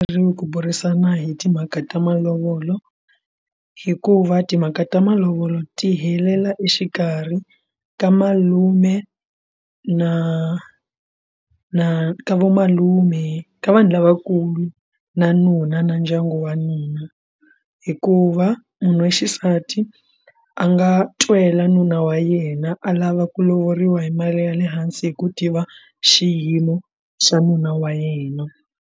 Ri ku burisana hi timhaka ta malovolo hikuva timhaka ta malovolo ti helela exikarhi ka malume na na ka vomalume ka vanhu lavakulu ku na nuna na ndyangu wa nuna hikuva munhu wa xisati a nga twela nuna wa yena a lava ku lovoriwa hi mali ya le hansi hi ku tiva xiyimo xa nuna wa yena.